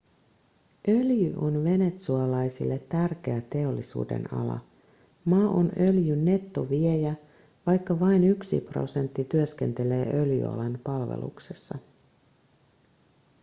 öljy on venezuelalaisille tärkeä teollisuudenala maa on öljyn nettoviejä vaikka vain yksi prosentti työskentelee öljyalan palveluksessa